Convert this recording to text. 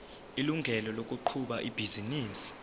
ilungelo lokuqhuba ibhizinisi